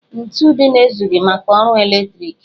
Ntu dịnụ ezughị maka ọrụ eletriki